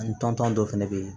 An tɔntɔn dɔ fɛnɛ bɛ ye